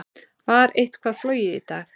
Var eitthvað flogið í dag?